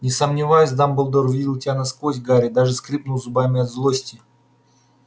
не сомневаюсь дамблдор видел тебя насквозь гарри даже скрипнул зубами от злости